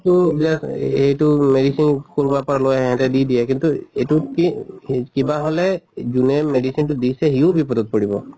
তু just এহ টো medicine কৰবাৰ লৈ আহি সিহঁতে দি দিয়ে কিন্তু এইটো কি হি কিবা হʼলে যোনে medicine টো দিছে হিও বিপদত পৰিব।